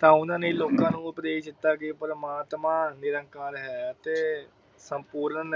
ਤਾ ਓਹਨਾ ਨੇ ਲੋਕਾਂ ਨੂੰ ਉਪਦੇਸ਼ ਦਿਤਾ ਕਿ ਪ੍ਰਮਾਤਮਾ ਨਿਰੰਕਾਰ ਹੈ ਅਤੇ ਸੰਪੂਰਨ